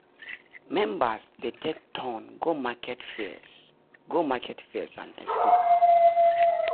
members dey take turn go market fairs go market fairs and expo.